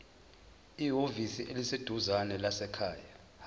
ehhovisi eliseduzane lezasekhaya